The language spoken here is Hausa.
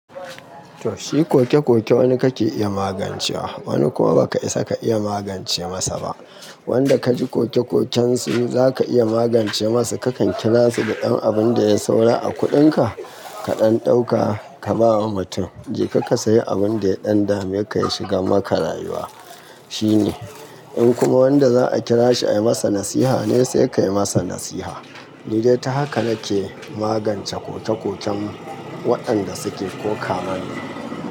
Toh shi koke-koke wani kake iya magancewa, wani kuma ba ka isa ka iya magance masa ba. Wanda kaji koke-koken su zaka iya magance masu kakan kira su da abun da ya saura a kuɗinka, ka ɗan ɗauka ka bawa mutum "je kaka sayi abun da ya ɗan dameka ya shiga maka rayuwa" shine. In kuma wanda za a kira shi ayi masa nasiha ne sai ka yi masa nasiha. Lalle ta haka nake magance koke-koken waɗanda suke kokawa ne.